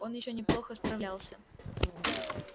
он ещё неплохо справлялся